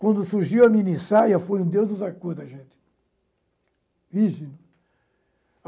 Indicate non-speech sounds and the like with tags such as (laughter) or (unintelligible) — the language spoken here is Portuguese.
Quando surgiu a minissaia, foi um Deus nos acuda, gente. (unintelligible)